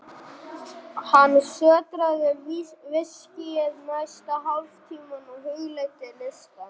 Hann sötraði viskíið næsta hálftímann og hugleiddi listann.